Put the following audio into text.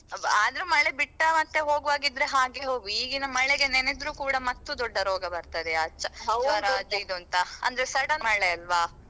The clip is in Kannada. ಆದ್ರೂ ಮಳೆ ಬಿಟ್ಟ~ ಹಾಗೆ ಹೋಗುವಾಗೀದ್ರೆ ಹಾಗೆ ಹೋಗು ಈಗಿನ ಮಳೆಗೆ ನೇನೆದ್ರು ಕೂಡ ಮತ್ತು ದೊಡ್ಡ ರೋಗ ಬರ್ತದೆ ಅದು ಇದು ಅಂತ ಅಂದ್ರೆ sudden ಮಳೆಯಲ್ವಾ.